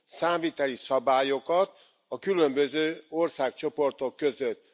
számviteli szabályokat a különböző országcsoportok között.